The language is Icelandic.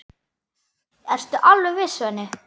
Ertu alveg viss, Svenni?